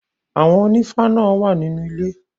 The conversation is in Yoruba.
Àwọn ònífá náà wà nínú ilé.